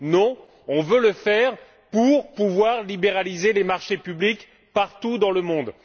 Non, on veut le faire pour pouvoir libéraliser les marchés publics partout dans le monde.